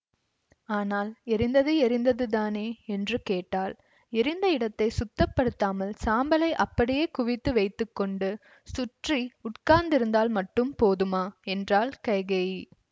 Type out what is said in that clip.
ஆனால் எரிந்தது எரிந்ததுதானே என்று கேட்டாள் எரிந்த இடத்தை சுத்தப்படுத்தாமல் சாம்பலை அப்படியே குவித்து வைத்து கொண்டு சுற்றி உட்கார்ந்திருந்தால் மட்டும் போதுமா என்றாள் கைகேயி